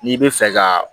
N'i bɛ fɛ ka